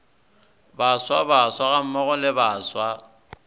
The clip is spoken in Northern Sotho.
baswa baswa gammogo le baswa